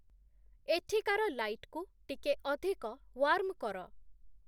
ଏଠିକାର ଲାଇଟ୍‌କୁ ଟିକେ ଅଧିକ ୱାର୍ମ୍‌ କର